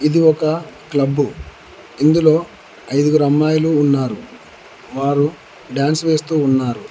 ఇది ఒక క్లబ్బు ఇందులో ఐదుగురు అమ్మాయిలు ఉన్నారు వారు డ్యాన్స్ వేస్తూ ఉన్నారు.